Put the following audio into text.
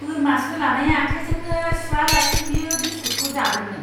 बोरमा सोलानाय आखायजोंनो सुयालासै बियो बिसकुटखौ जादोंमोन!